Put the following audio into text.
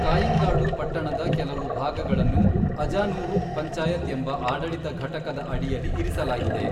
ಕಾಯ್ಯಿಂಗಾಡು ಪಟ್ಟಣದ ಕೆಲವು ಭಾಗಗಳನ್ನು ಅಜಾನೂರು ಪಂಚಾಯತ್ ಎಂಬ ಆಡಳಿತ ಘಟಕದ ಅಡಿಯಲ್ಲಿ ಇರಿಸಲಾಗಿದೆ.